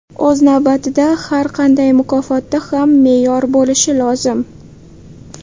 O‘z navbatida har qanday mukofotda ham me’yor bo‘lishi lozim.